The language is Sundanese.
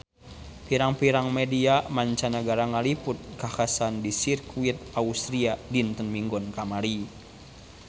Pirang-pirang media mancanagara ngaliput kakhasan di Sirkuit Austria dinten Minggon kamari